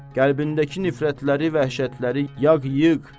Qəlbindəki nifrətləri, vəhşətləri yaq, yığ.